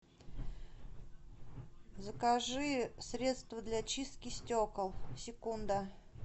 закажи средство для чистки стекол секунда